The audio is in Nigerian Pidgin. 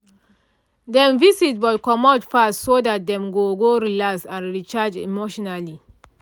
dem visit but comot fast so dat dem go go relax and recharge emotionally